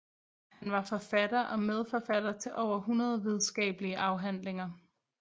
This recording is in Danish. Han var forfatter og medforfatter til over 100 videnskabelige afhandlinger